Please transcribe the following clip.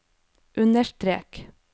understrek